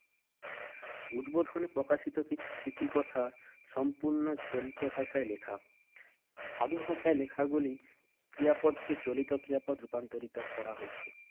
উদ্বোধনে প্রকাশিত কিছু স্মৃতিকথা সম্পূর্ণ চলিত ভাষায় লেখা। সাধু ভাষায় লেখাগুলি ক্রিয়াপদকে চলিত ক্রিয়াপদে রূপান্তরিত করা হয়েছে।